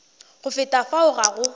go feta fao ga go